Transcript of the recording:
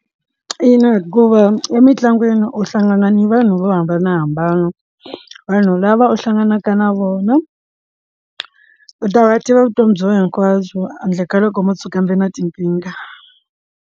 Ina hikuva emitlangwini u hlangana ni vanhu vo hambanahambana vanhu lava u hlanganaka na vona u ta va a tiva vutomi bya wena hinkwabyo handle ka loko mo tshuka kambe na tinkingha.